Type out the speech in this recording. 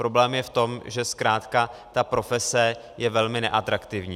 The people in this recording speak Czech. Problém je v tom, že zkrátka ta profese je velmi neatraktivní.